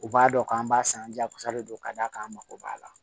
U b'a dɔn k'an b'a san jagosa de don ka d'a kan an mago b'a la